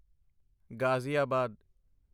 Ghaziabad